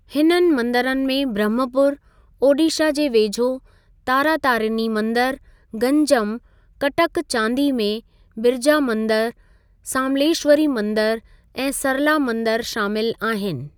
हिननि मंदिरनि में ब्रह्मपुर, ओडीशा जे वेझो तारातारिनी मंदिर, गंजम, कटक चांदी में, बिरजा मंदिर, सामलेश्‍वरी मंदिर ऐं सरला मंदिर शामिल आहिनि।